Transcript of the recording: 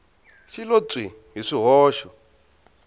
xi lo pyi hi swihoxo